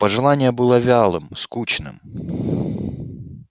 пожелание было вялым скучным